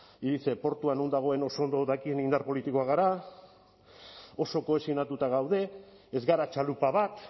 y dice no dagoen oso ondo dakien indar politikoak gara oso kohesionatuta gaude ez gara txalupa bat